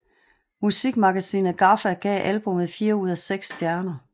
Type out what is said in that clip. Musikmagasinet GAFFA gav albummet fire ud af seks stjerner